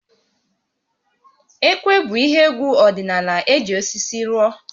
Ekwe bụ ihe égwú ọdịnaala eji osisi rụọ